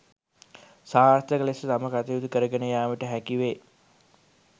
සාර්ථක ලෙස තම කටයුතු කරගෙන යාමට හැකිවේ